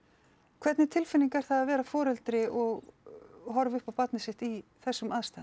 hvernig tilfinning er það að vera foreldri og horfa upp á barni sitt í þessum aðstæðum